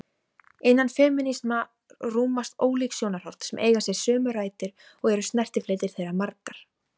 Innan femínisma rúmast ólík sjónarhorn sem eiga sér sömu rætur og eru snertifletir þeirra margir.